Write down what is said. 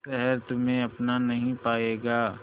शहर तुम्हे अपना नहीं पाएगा